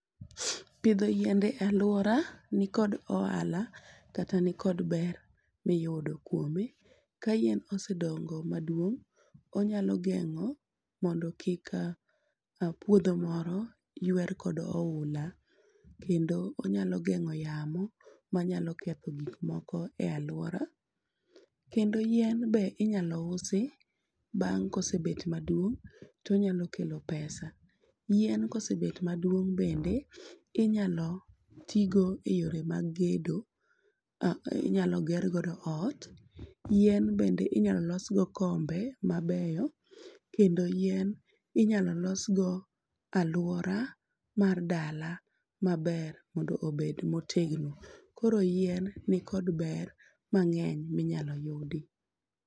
Pidho yiende e aluora ni kod ohala kata ni kod ber miyudo kuome. Ka yien osedongo maduong',onyalo geng'o mondo kik puodho moro yuer kod ohula kendo onyalo geng'o yamo manyalo ketho gik moko e aluora. Kendo yien be inyalo usi bang' kosebet maduong' tonyalo kelo pesa. Yien kosebet maduong' bende inyalo tii go e yore mag gedo. Inyalo ger godo ot. Yien bende inyalo losgo kombe mabeyo kendo yien inyalo losgo aluora mar dala maber mondo obed motegno. Koro yien ni kod ber mang'eny minyalo yudi.